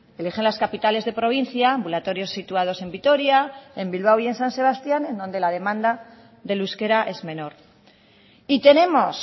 eligen las capitales de provincia ambulatorios situados en vitoria en bilbao y en san sebastián en donde la demanda del euskera es menor y tenemos